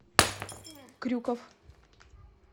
крюков